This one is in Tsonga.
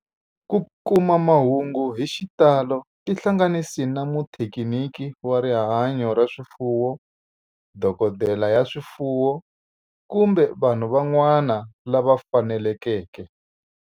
Ku kuma mahungu hi xitalo tihlanganisi na muthekiniki wa rihanyo ra swifuwo, dokodela ya swifuwo, kumbe vanhu van'wana lava fanelekeke.